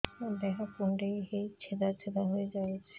ମୋ ଦେହ କୁଣ୍ଡେଇ ହେଇ ଛେଦ ଛେଦ ହେଇ ଯାଉଛି